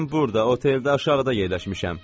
Mən burda oteldə aşağıda yerləşmişəm.